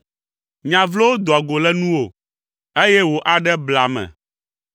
Nya vlowo doa go le nuwò, eye wò aɖe blea ame.